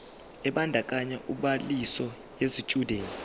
ebandakanya ubhaliso yesitshudeni